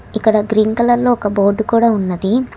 ఇక్కడ green colour లో ఒక బోటు కూడా ఉన్నది.